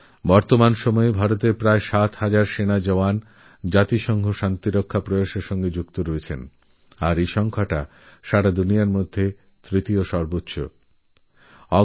বর্তমানে ভারতের প্রায় সাত হাজার সৈনিক রাষ্ট্রসঙ্ঘের শান্তিরক্ষারউদ্যোগের সঙ্গে জুড়ে রয়েছে আর গোটা বিশ্বে এটা তৃতীয় সর্বোচ্চ সংখ্যা